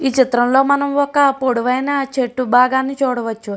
ఈ చిత్రంలో మనం ఒక పొడవైన చెట్టు భాగాన్ని చూడవచ్చు.